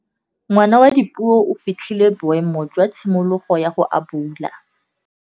Ngwana wa Dipuo o fitlhile boêmô jwa tshimologô ya go abula.